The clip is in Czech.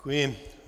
Děkuji.